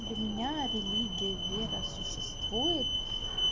для меня религия вера существует